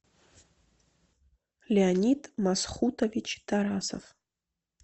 леонид масхутович тарасов